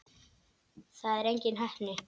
Það er engin heppni.